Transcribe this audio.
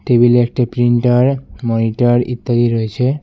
Table -এ একটি printer monitor ইত্যাদি রয়েছে।